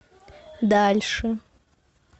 дальше